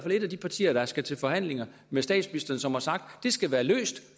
et af de partier der skal til forhandlinger med statsministeren som har sagt at det skal være løst